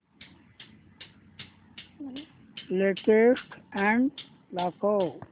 latest ad दाखव